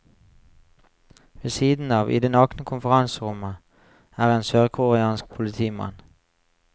Ved siden av, i det nakne konferanserommet, er en sørkoreansk politimann.